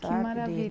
Que